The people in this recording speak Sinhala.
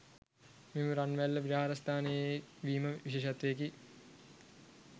මෙම රන්වැල්ල විහාරස්ථානයේ වීම විශේෂත්වයකි.